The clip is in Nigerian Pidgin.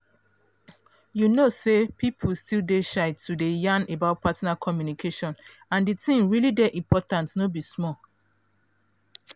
you know say people still dey shy to dey yan about partner communication and the thing really dey important no be small